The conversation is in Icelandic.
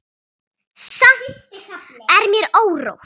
Samt er mér órótt.